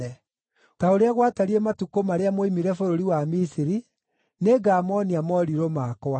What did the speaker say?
“Ta ũrĩa gwatariĩ matukũ marĩa mwoimire bũrũri wa Misiri, nĩngamoonia morirũ makwa.”